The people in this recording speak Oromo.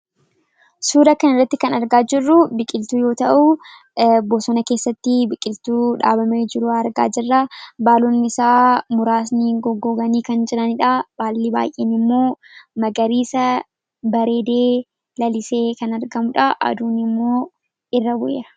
suura kan irratti kan argaa jirru biqiltuu yoo ta'uu bosona keessatti biqiltuu dhaabamee jiruu argaa jirraa baalonni isaa muraasni goggooganii kan jiraniidha baallii baay'een immoo magariisa bareedee lalisee kan argamudha aduuni immoo irra bu'eera.